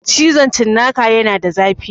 Cizon cinnaka yana da zafi